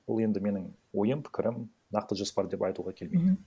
ол енді менің ойым пікірім нақты жоспар деп айтуға келмейді